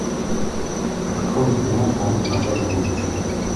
открой киноху назад в будущее